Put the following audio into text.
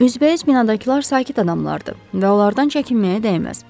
Üzbəüz binadakılar sakit adamlardır və onlardan çəkinməyə dəyməz.